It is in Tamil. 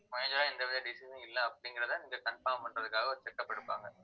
major ஆ எந்த வித disease உம் இல்லை அப்படிங்கிறதை நீங்க confirm பண்றதுக்காக ஒரு checkup எடுப்பாங்க